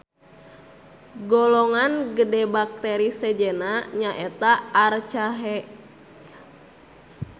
Golongan gede bakteri sejenna nyaeta Archaea.